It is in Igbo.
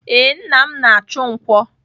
Ee, nna m na-achụ nkwọ.